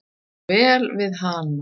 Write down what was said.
Ég kann vel við hana.